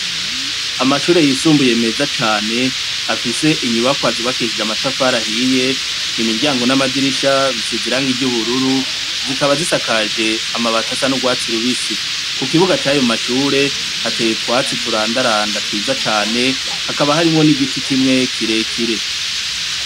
Amashure yisumbuye meza cane, afise inyubakwa zubakishije amatafari ahiye. Imiryango n’amadirisha bisize irangi ry’ubururu, zikaba zisakaje amabati asa n'urwatsi rubisi. Ku kibuga c’ayo mashure, hateye utwatsi turandaranda twiza cane, hakaba harimwo n’igiti kimwe kire kire.